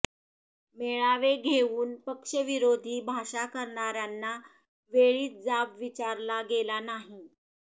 मेळावे घेऊन पक्षविरोधी भाषा करणाऱ्यांना वेळीच जाब विचारला गेला नाही